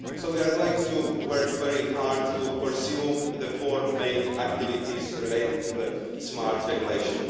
We are going to work very hard to pursue the four main activities related to smart regulation.